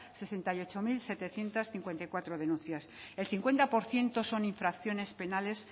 sesenta y ocho mil setecientos cincuenta y cuatro denuncias el cincuenta por ciento son infracciones penales